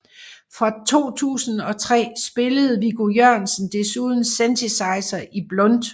Fra 2003 spillede Viggo Jørgensen desuden synthesizer i Blunt